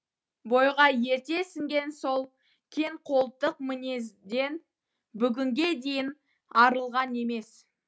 бойға ерте сіңген сол кеңқолтық мінезден бүгінге дейін арылған емес